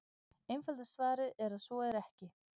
Einfalda svarið er að svo er ekki.